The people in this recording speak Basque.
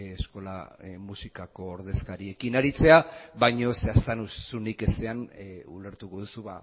eskola musikako ordezkariekin aritzea baina zehaztasunik ezean ulertuko duzu